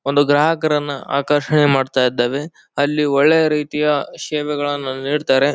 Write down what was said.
ಒಂದು ಗ್ರಾಹಕರನ್ನ ಆಕರ್ಷಣೆ ಮಾಡ್ತಾಇದ್ದವೇ ಅಲ್ಲಿ ಒಳ್ಳೆ ರೀತಿಯ ಶೇವೆಗಳನ್ನ ನೀಡ್ತಾರೆ